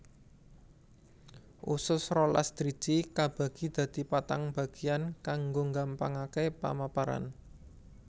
Usus rolas driji kabagi dadi patang bagéyan kanggo nggampangaké pamaparan